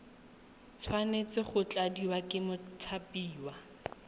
tshwanetse go tladiwa ke mothapiwa